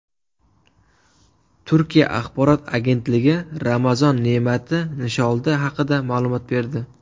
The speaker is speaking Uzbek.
Turkiya axborot agentligi Ramazon ne’mati nisholda haqida ma’lumot berdi.